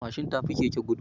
Mashin tafi keke gudu